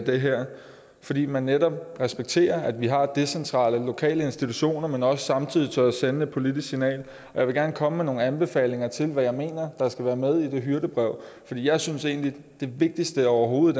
det her fordi man netop respekterer at vi har decentrale lokale institutioner men også samtidig tør sende et politisk signal jeg vil gerne komme med nogle anbefalinger til hvad jeg mener der skal være med i det hyrdebrev for jeg synes egentlig det vigtigste overhovedet